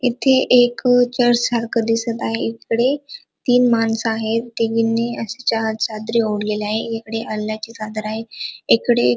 इथे एक अ चर्च सारख दिसत आहे इकडे तीन माणस आहेत तिघीनी चार चादरी ओडलेल्या आहे एकीकडे अल्लाच्या चादरी आहे एकडे --